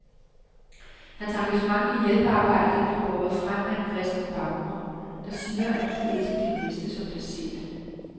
Hans engagement i hjælpearbejdet bliver båret frem af en kristen baggrund, der siger, at du skal elske din næste som dig selv.